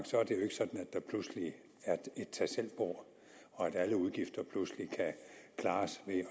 der pludselig er et tagselvbord og at alle udgifter pludselig kan klares ved